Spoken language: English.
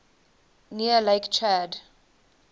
near lake chad